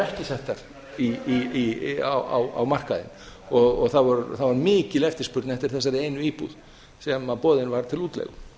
ekki settar á markaðinn og það var mikil eftirspurn eftir þessari einu íbúð sem boðin var til útleigu